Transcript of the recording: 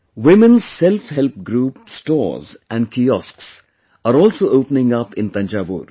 Women's SelfHelp Groups stores and kiosks are also opening up in Thanjavur